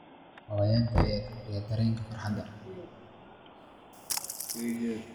Xayawaanka ayaa kordhiya dareenka farxadda.